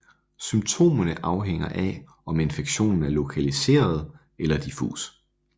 Symptomerne afhænger af om infektionen er lokaliseret eller diffus